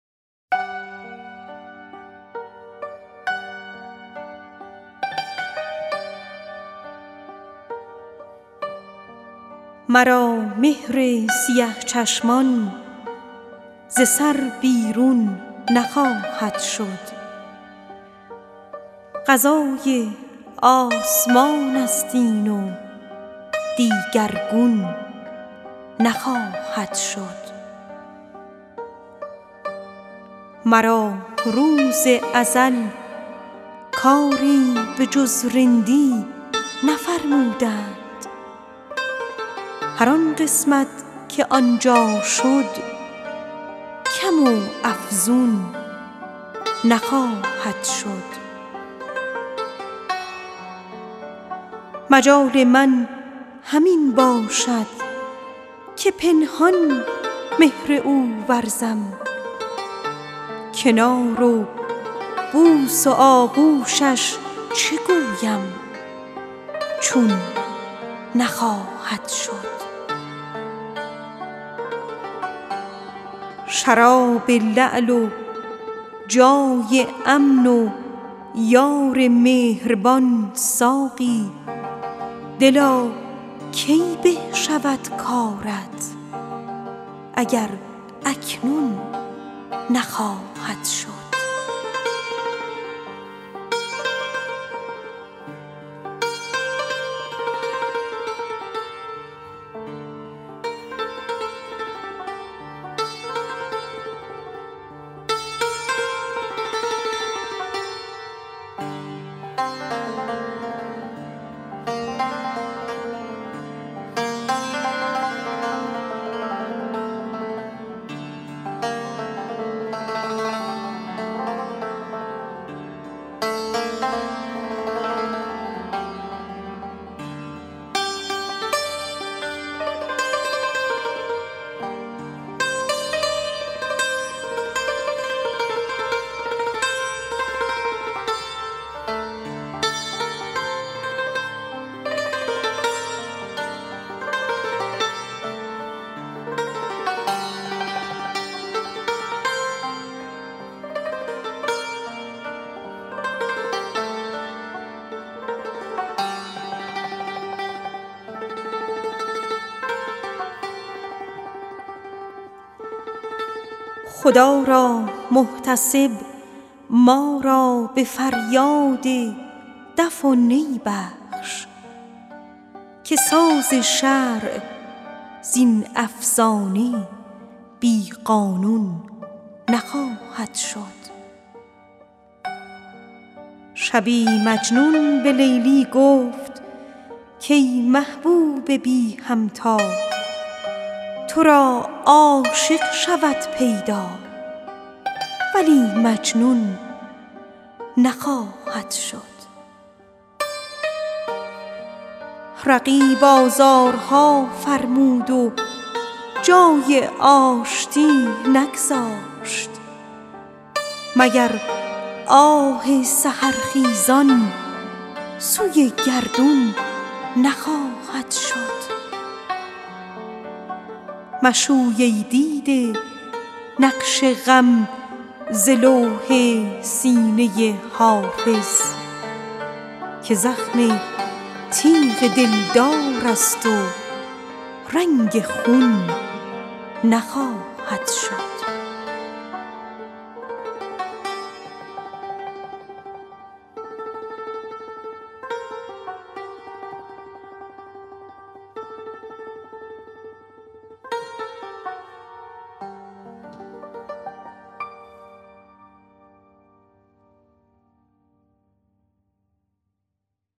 مرا مهر سیه چشمان ز سر بیرون نخواهد شد قضای آسمان است این و دیگرگون نخواهد شد رقیب آزارها فرمود و جای آشتی نگذاشت مگر آه سحرخیزان سوی گردون نخواهد شد مرا روز ازل کاری به جز رندی نفرمودند هر آن قسمت که آن جا رفت از آن افزون نخواهد شد خدا را محتسب ما را به فریاد دف و نی بخش که ساز شرع از این افسانه بی قانون نخواهد شد مجال من همین باشد که پنهان عشق او ورزم کنار و بوس و آغوشش چه گویم چون نخواهد شد شراب لعل و جای امن و یار مهربان ساقی دلا کی به شود کارت اگر اکنون نخواهد شد مشوی ای دیده نقش غم ز لوح سینه حافظ که زخم تیغ دلدار است و رنگ خون نخواهد شد